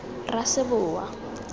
raseboa